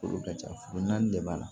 Furu ka ca furu naani de b'a la